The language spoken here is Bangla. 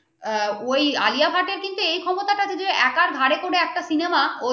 ওই আলিয়া ভাট এ কিন্তু ওই ক্ষমতাটা যদি একার ঘাড়ে পরে একটা cinema